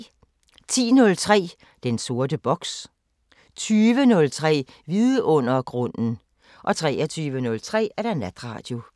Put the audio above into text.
10:03: Den sorte boks 20:03: Vidundergrunden 23:03: Natradio